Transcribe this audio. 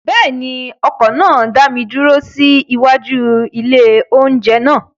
Bẹ́ẹ̀ ni, ọkọ̀ náà dá mi dúró sí iwájú ilé-oúnjẹ náà.